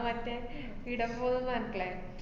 അഹ് മറ്റേ ഈടെ പോവൂന്ന്റഞ്ഞിട്ടില്ലേ?